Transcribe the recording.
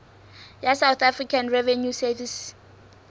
ya south african revenue service